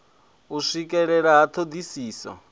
u swikelea ha thodisiso na